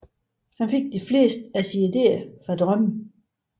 Han fik de fleste af sine idéer fra drømme